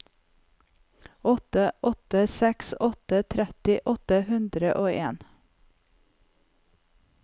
åtte åtte seks åtte tretti åtte hundre og en